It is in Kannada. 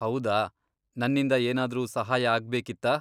ಹೌದಾ, ನನ್ನಿಂದ ಏನಾದ್ರೂ ಸಹಾಯ ಆಗ್ಬೇಕಿತ್ತಾ?